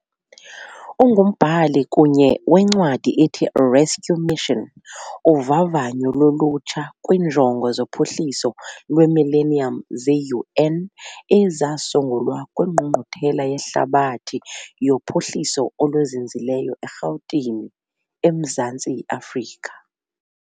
Ungumbhali kunye wencwadi ethi- "Rescue Mission", uvavanyo lolutsha kwiiNjongo zoPhuhliso lweMillennium ze-UN ezasungulwa kwiNgqungquthela yeHlabathi yoPhuhliso oluZinzileyo eRhawutini, eMzantsi Afrika .